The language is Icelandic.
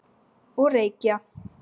Og reykja.